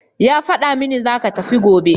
Ya fada mini zaka tafi gobe